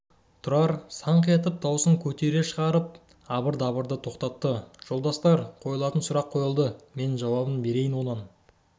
тұрар саңқ етіп дауысын көтере шығарып абыр-дабырды тоқтатты жолдастар қойылатын сұрақ қойылды мен жауабын берейін онан